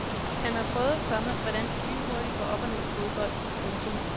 Han har prøvet, komma hvordan det lynhurtigt går op og ned i fodbold. punktum